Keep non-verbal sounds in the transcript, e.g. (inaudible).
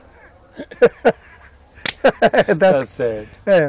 (laughs) Está certo. É.